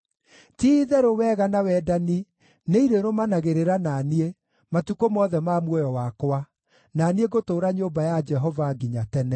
Ti-itherũ wega na wendani nĩirĩrũmanagĩrĩra na niĩ matukũ mothe ma muoyo wakwa, na niĩ ngũtũũra nyũmba ya Jehova nginya tene.